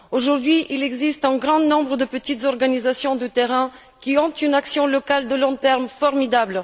Aujourd'hui, il existe un grand nombre de petites organisations de terrain ayant une action locale de long terme formidable.